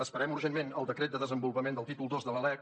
esperem urgentment el decret de desenvolupament del títol ii de la lec